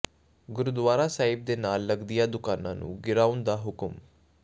ਗੁਰਦੁਆਰਾ ਸਾਹਿਬ ਦੇ ਨਾਲ ਲਗਦੀਆਂ ਦੁਕਾਨਾਂ ਨੂੰ ਗਿਰਾਉਣ ਦਾ ਹੁਕਮ